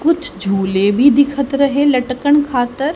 कुछ झूले भी दिखत रहे लटकन खातर।